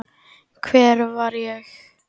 Hvar var ég?